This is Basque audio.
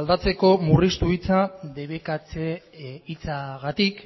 aldatzeko murriztu hitza debekatze hitzagatik